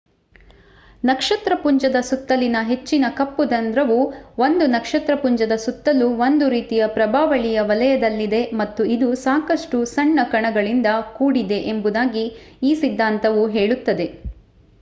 ನಕ್ಷತ್ರಪುಂಜದ ಸುತ್ತಲಿನ ಹೆಚ್ಚಿನ ಕಪ್ಪು ರಂಧ್ರವು ಒಂದು ನಕ್ಷತ್ರಪುಂಜದ ಸುತ್ತಲೂ ಒಂದು ರೀತಿಯ ಪ್ರಭಾವಳಿಯ ವಲಯದಲ್ಲಿದೆ ಮತ್ತು ಇದು ಸಾಕಷ್ಟು ಸಣ್ಣ ಕಣಗಳಿಂದ ಕೂಡಿದೆ ಎಂಬುದಾಗಿ ಈ ಸಿದ್ಧಾಂತವು ಹೇಳುತ್ತದೆ